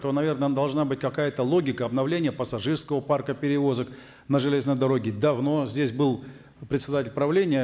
то наверно должна быть какая то логика обновления пассажирского парка перевозок на железной дороге давно здесь был председатель правления